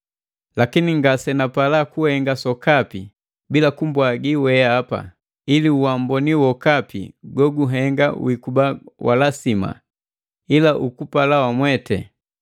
Lakini ngasenapala kuhenga sokapi bila kumbwagi weapa, ili uamboni wokapi goguhenga wikuba walasima ila ukupala wamweti.